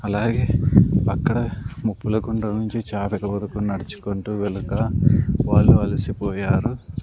అలాగే అక్కడ ముప్పల కుండా నుంచీ చాతక వరుకు నడ్చుకుంటా వెల్తా వాళ్ళు అలసిపోయారు --